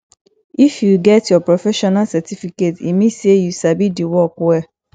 if you get your professional certificate e mean sey you sabi di work well